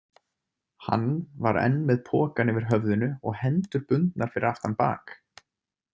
Hann var enn með pokann yfir höfðinu og hendur bundnar fyrir aftan bak.